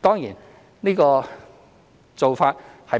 當然這個做法